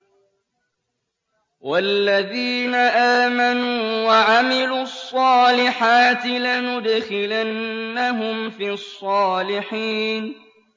وَالَّذِينَ آمَنُوا وَعَمِلُوا الصَّالِحَاتِ لَنُدْخِلَنَّهُمْ فِي الصَّالِحِينَ